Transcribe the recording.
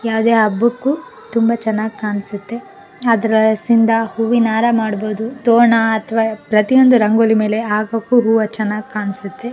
ಯಾವದೇ ಹಬ್ಬಕ್ಕೂ ತುಂಬಾ ಚೆನ್ನಾಗಿ ಕಾಣ್ಸುತ್ತೆ ಆದ್ರೆ ದಸಿಂದ ಹೂವಿನ ಹಾರ ಮಾಡಬಹುದು ತೋರಣ ಅತ್ವ ಪ್ರತಿಯೊಂದು ರಂಗೋಲಿ ಮೇಲೆ ಹಾಕೋಕು ತುಂಬಾ ಚೆನ್ನಾಗಿ ಕಾಣ್ಸುತ್ತೆ.